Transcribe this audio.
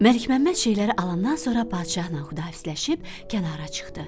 Məlik Məmməd şeyləri alandan sonra padşahla xudahafizləşib kənara çıxdı.